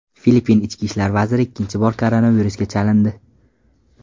Filippin ichki ishlar vaziri ikkinchi bor koronavirusga chalindi.